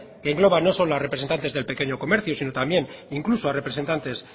que engloba no solo a representantes del pequeño comercio sino también incluso a representantes